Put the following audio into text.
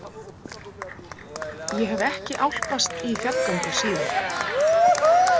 Ég hef ekki álpast í fjallgöngur síðan.